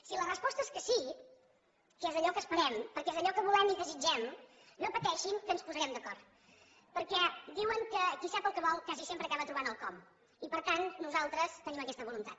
si la resposta és que sí que és allò que esperem perquè és allò que volem i desitgem no pateixin que ens posarem d’acord perquè diuen que qui sap el que vol quasi sempre acaba trobant el com i per tant nosaltres tenim aquesta voluntat